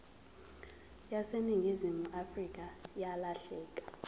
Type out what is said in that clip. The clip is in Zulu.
yaseningizimu afrika yalahleka